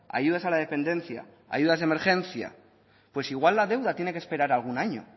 ayudas a la dependencia ayudas de emergencia pues igual la deuda tiene que esperar algún año